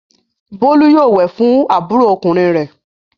Bólú yóò wẹ̀ fún àbúrò ọkùnrin rẹ̀!